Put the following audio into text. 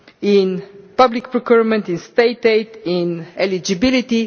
in public procurement, in state aid, in eligibility.